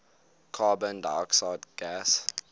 carbon dioxide gas